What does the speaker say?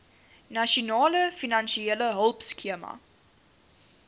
nasionale finansiële hulpskema